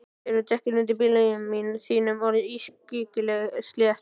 Eru dekkin undir bílnum þínum orðin ískyggilega slétt?